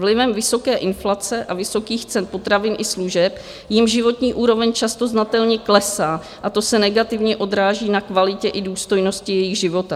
Vlivem vysoké inflace a vysokých cen potravin i služeb jim životní úroveň často znatelně klesá a to se negativně odráží na kvalitě i důstojnosti jejich života.